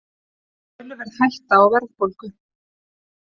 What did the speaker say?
Töluverð hætta á verðbólgu